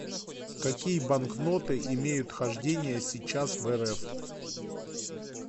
какие банкноты имеют хождение сейчас в рф